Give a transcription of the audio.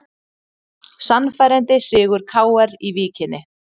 Sannfærandi sigur KR í Víkinni